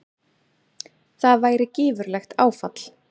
Það væri gífurlegt áfall.